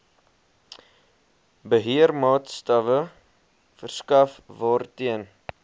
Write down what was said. beheermaatstawwe verskaf waarteen